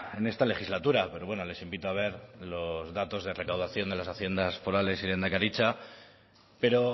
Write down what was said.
en esta legislatura pero bueno les invito a ver los datos de recaudación de las haciendas forales y de lehendakaritza pero